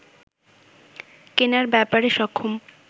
কেনার ব্যাপারে সক্ষম